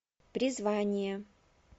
призвание